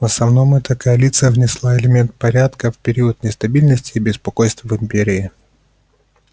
в основном эта коалиция внесла элемент порядка в период нестабильности и беспокойств в империи